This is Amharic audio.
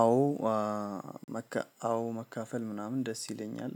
አዎ። አዎ መካፈል ምናምን ደስ ይለኛል።